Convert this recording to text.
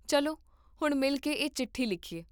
ਚੱਲੋ ਹੁਣੇ ਮਿਲ ਕੇ ਇਹ ਚਿੱਠੀ ਲਿਖੀਏ